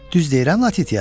Düz deyirəm Latitia?